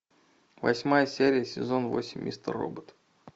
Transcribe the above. восьмая серия сезон восемь мистер робот